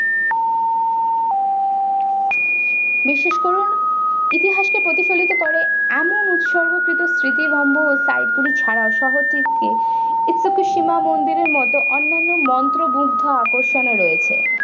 বিশ্বাস করুন ইতিহাসকে প্রতিফলিত করে এমন উৎসর্গ কৃত স্মৃতিস্তম্ভ ও site গুলি ছাড়াও শহর দীপকে istokisima মন্দিরের মতো অন্যান্য মন্ত্রমুগ্ধ আকর্ষণও রয়েছে।